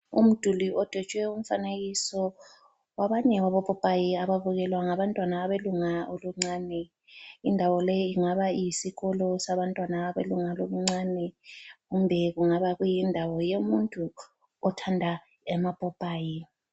Umduli odwetshwe umfanekiso wabanye wabopopayi ababukelwa ngabantwana abelunga oluncane. Indawo le ingaba iyisikolo sabantwana abelunga lobuncane kumbe kungaba kuyindawo yomuntu othanda amapopayi.